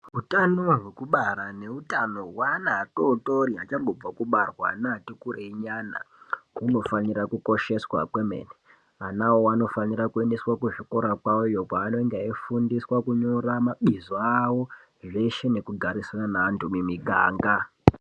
Hutano hwekubara nehutano hwevana vadodori nevachangobva kubarwa newati kurei mbichana hunofana kukosheswa kwemene . Vana avo vanofana kuendeswa kuzvikora zvawo panenge eifundiswa kunyora mabizo awo zveshe nekugarisana nenantu mumiganga.